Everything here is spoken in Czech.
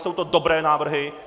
Jsou to dobré návrhy!